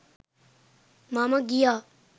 මම ගියා